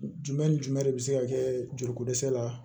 Jumɛn ni jumɛn de bɛ se ka kɛ joliko dɛsɛ la